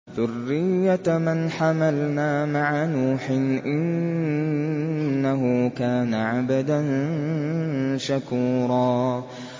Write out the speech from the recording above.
ذُرِّيَّةَ مَنْ حَمَلْنَا مَعَ نُوحٍ ۚ إِنَّهُ كَانَ عَبْدًا شَكُورًا